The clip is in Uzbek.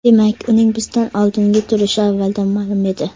Demak, uning bizdan oldinda turishi avvaldan ma’lum edi.